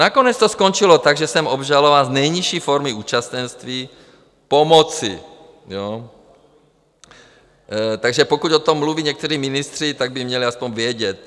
Nakonec to skončilo tak, že jsem obžalován z nejnižší formy účastenství pomoci, takže pokud o tom mluví někteří ministři, tak by měli aspoň vědět.